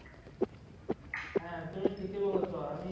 হ্যাঁ তুমি ঠিকই বলেছ আমি